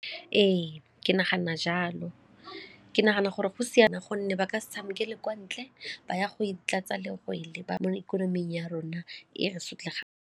Ee, ke nagana jalo. Ke nagana gore go siame gonne ba ka se tshamekele kwa ntle ba ya go itlatsa mo ikonoming ya rona e re .